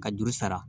Ka juru sara